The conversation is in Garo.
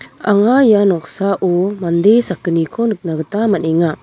anga ia noksao mande sakgniko nikna gita man·enga.